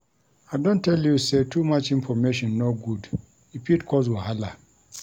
I don tell you sey too much information no good, e fit cause wahala.